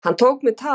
Hann tók mig tali.